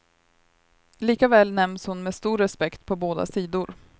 Likväl nämns hon med stor respekt på båda sidor.